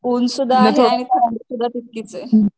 ऊन सुद्धा आहे आणि थंडी सुद्धा तितकीच आहे